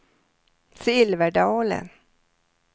Silverdalen